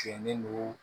Cɛnnen don